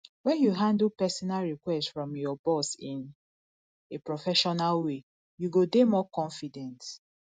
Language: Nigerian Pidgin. when you handle personal request from your boss in a professional way you go dey more confident